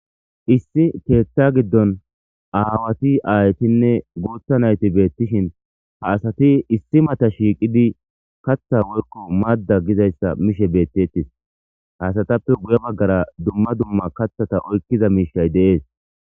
Issi keetta giddon aawati aaytinne guutha nayti beettishin ha asati issi mata shiiqidi katha worko madda gizayssa mishe beettettis hasatappe guya baggara dumma dumma kathata oykkiza miishay deees.